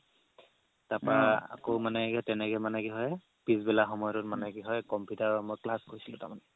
তাৰপৰা আকৌ মানে সেই তেনেকে মানে কি হয় পিছবেলা সময়টোত মানে কি হয় computer ৰ মই class কৰিছিলো তাৰমানে